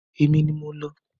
Èmi ni mo lọ.